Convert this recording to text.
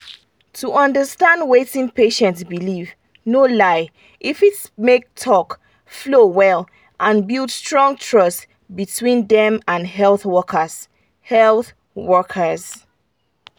to understand wetin patient believe no lie e fit make talk flow well and build strong trust between dem and health workers. health workers.